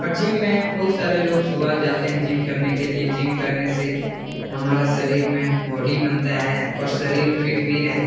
और जीम में बहुत सारे लोग सुबह जाते हैं जीम करने के लिए जीम करने से हमारा शरीर में बॉडी बनता है और शरीर फिट भी रहत --